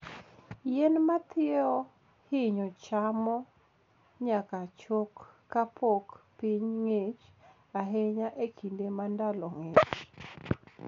Yien ma thiewo hinyo chamo nyaka chok kapok piny ng'ich ahinya e kinde ma ndalo ng'ich.